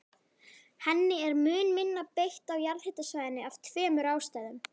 Henni er mun minna beitt á jarðhitasvæðum af tveimur ástæðum.